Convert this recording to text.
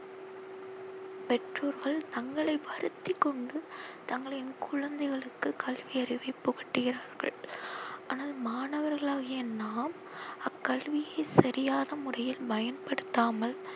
பெற்றோர்கள் தங்களை வருத்தி கொண்டு தங்களின் குழந்தைகளுக்கு கல்வி அறிவை புகுட்டுகிறார்கள். ஆனால் மாணவர்களாகிய நாம் அக்கல்வியை சரியான முறையில் பயன்படுத்தாமல்